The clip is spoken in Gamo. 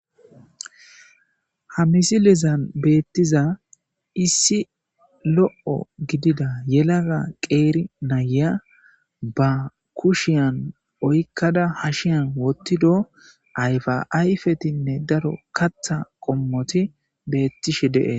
Ha misilezan beetiza issi lo'o gidida yelaga qeeri nayiya ba kushiyan oykada hashiyan wothido ayfa ayfethinne daro katha qommoti beettishe de'etees.